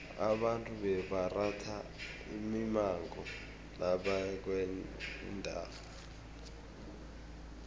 abantu bebaratha imimango nabaya kwenye indawo